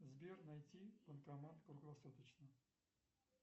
сбер найти банкомат круглосуточный